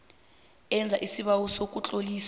enza isibawo sokutloliswa